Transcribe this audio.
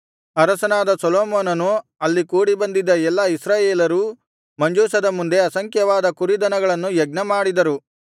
ಅರಸನಾದ ಸೊಲೊಮೋನನು ಅಲ್ಲಿ ಕೂಡಿ ಬಂದಿದ್ದ ಎಲ್ಲಾ ಇಸ್ರಾಯೇಲರೂ ಮಂಜೂಷದ ಮುಂದೆ ಅಸಂಖ್ಯವಾದ ಕುರಿದನಗಳನ್ನು ಯಜ್ಞಮಾಡಿದರು